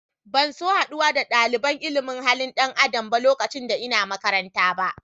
Ban so haduwa da dalibain ilimin halin dan Adam lokacin da n'na makaranta ba.